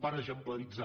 per exemplaritzar